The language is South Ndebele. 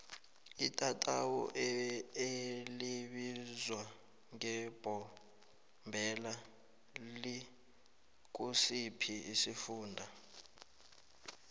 itatawu elibizwa ngembombela likusiphi isifunda